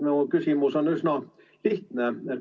Mu küsimus on üsna lihtne.